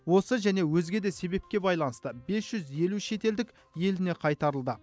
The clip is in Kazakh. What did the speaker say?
осы және өзге де себепке байланысты бес жүз елу шетелдік еліне қайтарылды